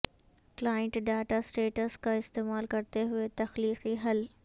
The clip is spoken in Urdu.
کلائنٹ ڈاٹا سیٹس کا استعمال کرتے ہوئے تخلیقی حل